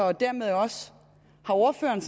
og dermed også har ordføreren